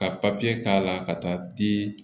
Ka k'a la ka taa di